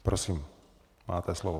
Prosím, máte slovo.